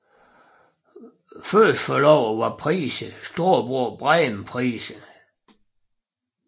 Første forloveren var Price storebror Bryan Price